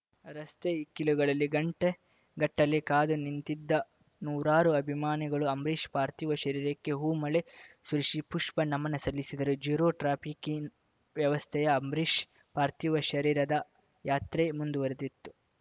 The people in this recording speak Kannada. ರಸ್ತೆ ಇಕ್ಕೆಲುಗಳಲ್ಲಿ ಗಂಟೆ ಗಟ್ಟಲೆ ಕಾದು ನಿಂತಿದ್ದ ನೂರಾರು ಅಭಿಮಾನಿಗಳು ಅಂಬರೀಷ್‌ ಪಾರ್ಥಿವ ಶರೀರಕ್ಕೆ ಹೂಮಳೆ ಸುರಿಸಿ ಪುಷ್ಪನಮನ ಸಲ್ಲಿಸಿದರು ಜೀರೋ ಟ್ರಾಫಿಕ್‌ ವ್ಯವಸ್ಥೆಯ ಅಂಬರೀಷ್‌ ಪಾರ್ಥಿವ ಶರೀರದ ಯಾತ್ರೆ ಮುಂದುವರೆದಿತ್ತು